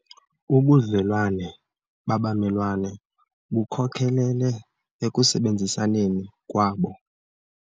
Ubudlelwane babamelwane bukhokelele ekusebenzisaneni kwabo.